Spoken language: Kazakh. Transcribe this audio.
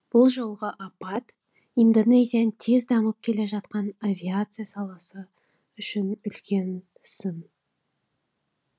бұл жолғы апат индонезияның тез дамып келе жатқан авиация саласы үшін үлкен сын